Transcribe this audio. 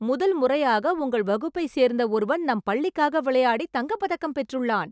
முதல் முறையாக உங்கள் வகுப்பைச் சேர்ந்த ஒருவன் நம் பள்ளிக்காக விளையாடிய தங்க பதக்கம் பெற்றுள்ளான்